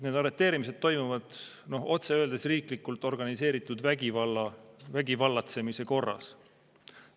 Need arreteerimised toimuvad otse öeldes riiklikult organiseeritud vägivallatsemise korras.